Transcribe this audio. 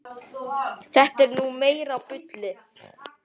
Þetta er nú meira bullið.